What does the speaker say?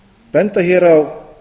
benda hér á